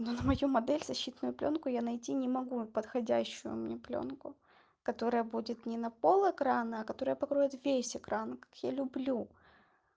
но на мою модель защитную плёнку я найти не могу подходящую мне плёнку которая будет не на пол экрана а которая покроет весь экран как я люблю